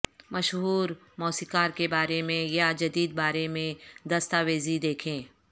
مشہور موسیقار کے بارے میں یا جدید بارے میں دستاویزی دیکھیں